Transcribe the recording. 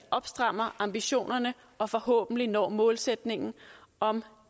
strammer op ambitionerne og forhåbentlig når målsætningen om